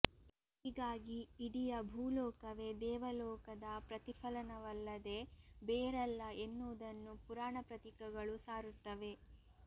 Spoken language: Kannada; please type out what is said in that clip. ಹೀಗಾಗಿ ಇಡಿಯ ಭೂಲೋಕವೇ ದೇವಲೋಕದ ಪ್ರತಿಫಲನವಲ್ಲದೆ ಬೇರಲ್ಲ ಎನ್ನುವುದನ್ನು ಪುರಾಣಪ್ರತೀಕಗಳು ಸಾರುತ್ತವೆ